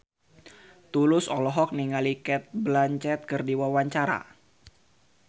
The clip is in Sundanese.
Tulus olohok ningali Cate Blanchett keur diwawancara